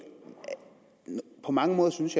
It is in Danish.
på mange måder synes